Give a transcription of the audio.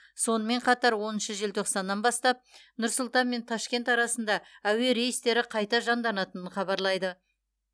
сонымен қатар оныншы желтоқсаннан бастап нұр сұлтан мен ташкент арасында әуе рейстері қайта жанданатынын хабарлайды